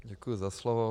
Děkuji za slovo.